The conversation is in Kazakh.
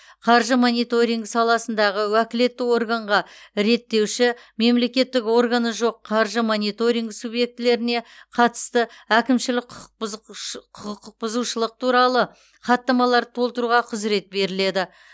қаржы мониторинг саласындағы уәкілетті органға реттеуші мемлекеттік органы жоқ қаржы мониторинг субъектілеріне қатысты әкімшілік құқық бұзушылық туралы хаттамаларды толтыруға құзырет беріледі